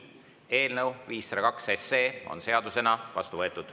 Eelnõu 502 on seadusena vastu võetud.